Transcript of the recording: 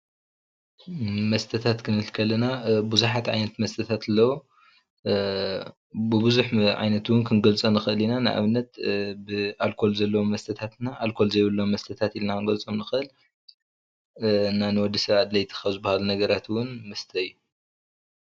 መስተታት ክንብልከለና ብዙሓት ዓይነት መስተታት ኣለው ብብዙሕ ዓይነታት ክንገልፆ ንክእል ኢና ንኣብነት ብኣልኮል ዘሎ መስተታት ኣልኮል ዘይብሎም መስተታት ኢልና ክንገልፆም ንክእል ንወዲ ሰባት ኣድለይቲ ካብዝብሃሉ ነገራት እውን መስተ እዩ።